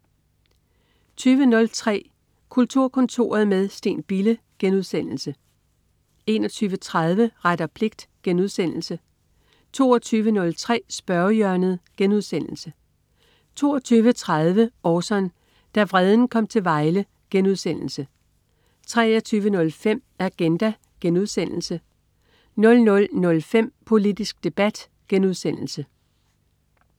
20.03 Kulturkontoret med Steen Bille* 21.30 Ret og pligt* 22.03 Spørgehjørnet* 22.30 Orson. Da vreden kom til Vejle* 23.05 Agenda* 00.05 Politisk debat*